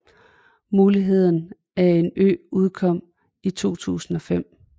Muligheden af en ø udkom i 2005